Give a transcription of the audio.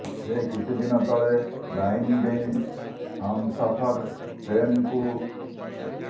ସେ କିଛି ଦିନ ତଳେ ଲାଇନ ଡେଇଁ ହମସଫର ଟ୍ରେନ୍କୁ ଚଢ଼ୁଥିବା ବେଳେ ପଡ଼ିଯାଇ ଗୁରୁତର ଆହତ ହୋଇଥିଲେ